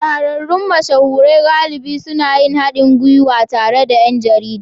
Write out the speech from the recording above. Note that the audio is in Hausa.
Shahararrun mashahuran galibi suna yin haɗin gwiwa tare da ’yan jarida